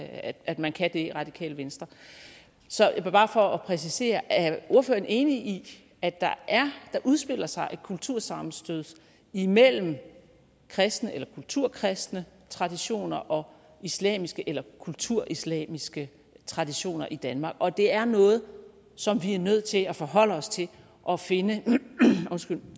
at man kan det i radikale venstre så bare for at præciseret er ordføreren enig i at der udspiller sig et kultursammenstød imellem kristne eller kulturkristne traditioner og islamiske eller kulturislamiske traditioner i danmark og at det er noget som vi er nødt til at forholde os til og finde